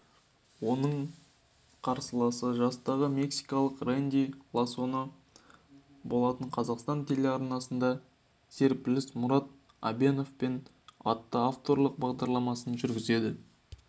оның қарсыласы жастағы мексикалық рэнди лосано болатын қазақстан телеарнасында серпіліс мұрат әбеновпен атты авторлық бағдарламасын жүргізеді